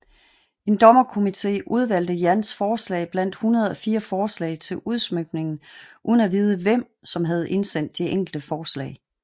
En dommerkomite udvalgte Yans forslag blandt 104 forslag til udsmykningen uden at vide hvem som havde indsendt de enkelte forslag